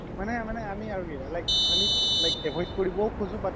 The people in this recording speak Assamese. মানে মানে আমি আৰু কি like avoid কৰিবও খুজো